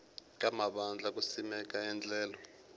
ka mavandla ku simeka endlelo